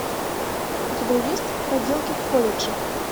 у тебя есть проделки в колледже